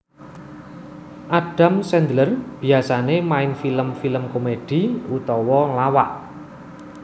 Adam Sandler biasané main film film komedi utawa lawak